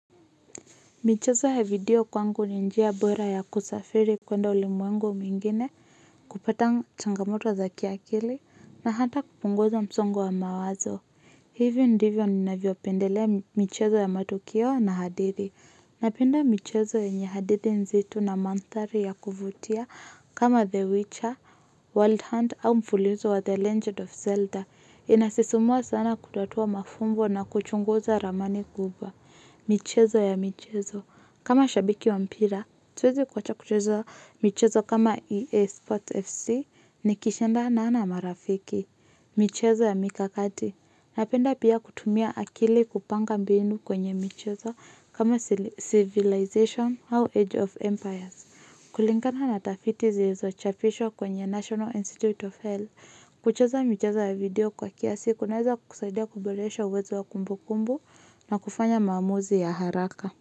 Michezo ya video kwangu ni njia bora ya kusafiri kwenda ulimwengu mwingine kupata changamoto wa za kiakili na hata kupunguza msongo wa mawazo. Hivyo ndivyo ninavyopendelea michezo ya matukio na hadithi. Napenda michezo yenye hadithi nzito na mandhari ya kuvutia kama The Witcher, Wild Hunt au mfulizo wa The Legend of Zelda. Inasisimua sana kutotoa mafumbo na kuchunguza ramani guba. Michezo ya michezo kama shabiki wa mpira hatuwezi kuacha kuchezo michezo kama EA Sports FC. Nikishindana na marafiki. Michezo ya mikakati. Napenda pia kutumia akili kupanga mbinu kwenye Michezo Kama Civilization How Age of Empires. Kulingana na tafiti zilizo chapishwa kwenye National Institute of Health. Kuchezo michezo ya video kwa kiasi kunaweza kusaidia kuboresha uwezo wa kumbukumbu na kufanya maamuzi ya haraka.